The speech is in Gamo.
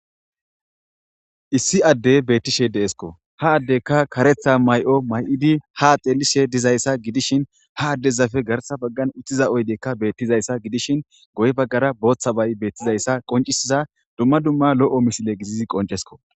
issi addey beettishe deesko ha addekka karetha may7o may7idi ha axeelishe dizayssa gidishin ha addezafe garsa baggan uttiza oydekka beettizayssa gidishin goy baggara booththa bay beettizayssa qoncisiza dumma dumma lo7o misile gizizi qoncesko